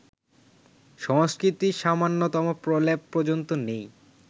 সংস্কৃতির সামান্যতম প্রলেপ পর্যন্ত নেই